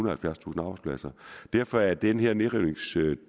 og halvfjerdstusind arbejdspladser derfor er den her nedrivningsdel